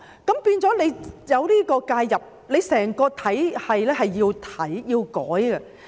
出現這種介入的時候，整個體系便要改變。